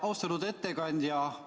Austatud ettekandja!